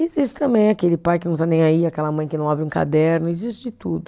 E existe também aquele pai que não está nem aí, aquela mãe que não abre um caderno, existe de tudo.